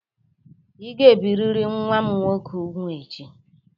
Ị ga-ebirịrị nwa m nwoke úgwù echi!